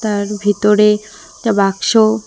তার ভিতরে একটা বাক্সও--